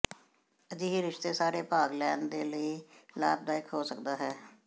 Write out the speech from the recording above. ਅਜਿਹੇ ਰਿਸ਼ਤੇ ਸਾਰੇ ਭਾਗ ਲੈਣ ਦੇ ਲਈ ਲਾਭਦਾਇਕ ਹੋ ਸਕਦਾ ਹੈ